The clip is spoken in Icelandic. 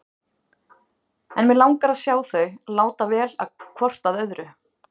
En mig langar að sjá þau láta vel hvort að öðru.